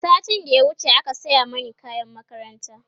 satin da ya wuce aka saya Mani kayan makaranta